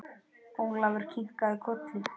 Ólafur kinkaði kolli.